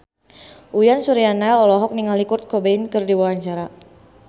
Uyan Suryana olohok ningali Kurt Cobain keur diwawancara